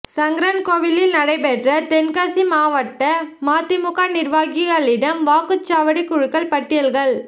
சங்கரன்கோவிலில் நடைபெற்ற தென்காசி மாவட்ட மதிமுக நிா்வாகிகளிடம் வாக்குச்சாவடி குழுக்கள் பட்டியல்கள்